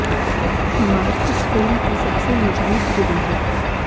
मां इस फिल्म की सबसे मजबूत धुरी है